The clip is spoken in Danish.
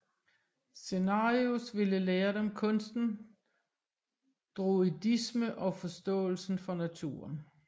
Cenarius ville lære dem kunsten druidisme og forståelsen for naturen